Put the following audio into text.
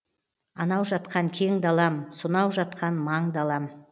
анау жатқан кең далам сонау жатқан маң далам